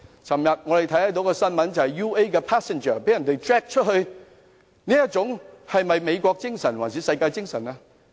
昨天我們看到一則新聞 ，UA 的乘客被人拖落飛機，這是美國精神嗎，還是世界精神？